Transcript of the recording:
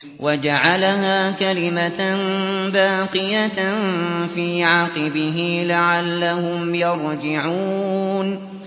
وَجَعَلَهَا كَلِمَةً بَاقِيَةً فِي عَقِبِهِ لَعَلَّهُمْ يَرْجِعُونَ